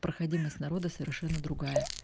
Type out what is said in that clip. проходимость народа совершенно другая